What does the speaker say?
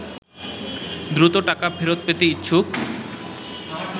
দ্রুত টাকা ফেরত পেতে ইচ্ছুক